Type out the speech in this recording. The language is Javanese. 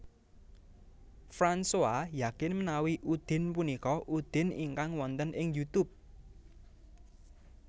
Fransoa yakin menawi Udin punika Udin ingkang wonten ing Youtube